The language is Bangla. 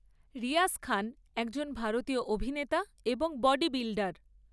রিয়াজ খান একজন ভারতীয় অভিনেতা এবং বডি বিল্ডার।